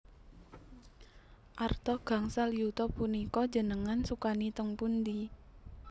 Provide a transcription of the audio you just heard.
Arta gangsal yuta punika njenengan sukani teng pundi?